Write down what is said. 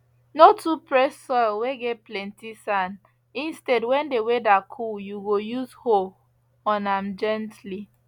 no too press soil whey get plenty sand instead when the weather cool you go use hoe on am gently